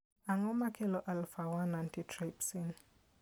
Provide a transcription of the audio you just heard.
Ang'o makelo alpha 1 antitrypsin?